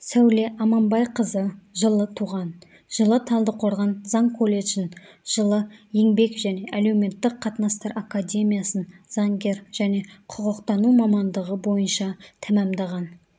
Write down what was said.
сәуле аманбайқызы жылы туған жылы талдықорған заң колледжін жылы еңбек және әлеуметтік қатынастар академиясын заңгер және құқықтану мамандығы бойынша тәмамдаған